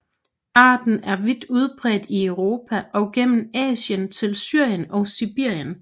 Arten er vidt udbredt i Europa og gennem Asien til Syrien og Sibirien